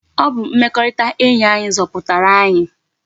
Ọ bụ mmekọrịta enyi anyi zọpụtara anyi.